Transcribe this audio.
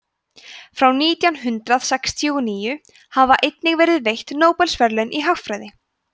frá nítján hundrað sextíu og níu hafa einnig verið veitt nóbelsverðlaun í hagfræði